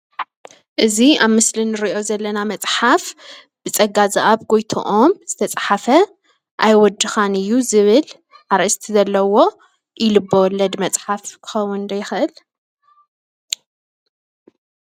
እዚ ኣብ ምስሊ ንሪኦ ዘለና መፅሓፍ ብፅጋዝኣብ ጎይትኦም ዝተፅሓፈ "ኣይወድኻን እዩ "ዝብል ኣርእስቲ ዘለዎ ኢ-ልበ ወለድ መፅሓፍ ክከውን ዶ ይክእል?